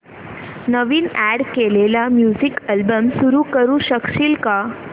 नवीन add केलेला music album सुरू करू शकशील का